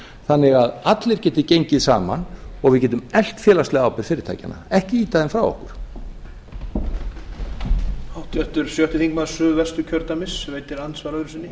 þannig að allir geti gengið saman og við getum eflt félagslega ábyrgð fyrirtækjanna ekki ýta þeim frá okkur